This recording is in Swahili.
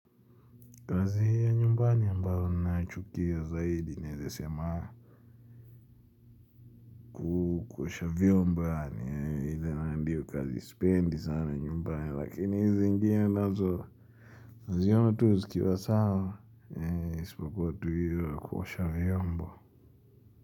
Kazi hiyo ya nyumbani ambayo naichukia zaidi nezesema. Kuosha vyomba yani hili naandiyo kazi spendi sana nyumbani lakini hizi zingine nazo. Ziona tu zikiwa sawa. Hei ispokua hiyo ya kuosha vyomba.